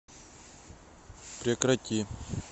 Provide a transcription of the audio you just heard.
прекрати